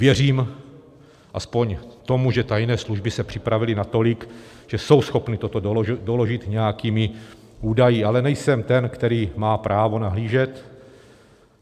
Věřím aspoň tomu, že tajné služby se připravily natolik, že jsou schopny toto doložit nějakými údaji, ale nejsem ten, který má právo nahlížet.